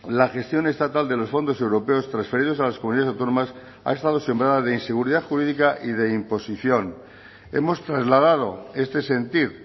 la gestión estatal de los fondos europeos transferidos a las comunidades autónomas ha estado sembrada de inseguridad jurídica y de imposición hemos trasladado este sentir